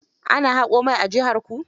Ana haƙo mai a jiharku.